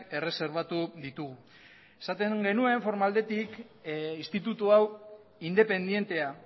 erreserbatu ditugu esaten genuen forma aldetik instituto hau independentea